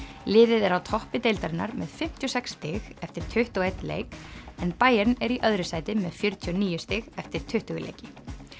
liðið er á toppi deildarinnar með fimmtíu og sex stig eftir tuttugu og einn leik en Bayern er í öðru sæti með fjörutíu og níu stig eftir tuttugu leiki